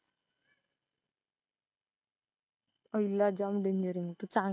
पहिला जाम डेंजर आहे.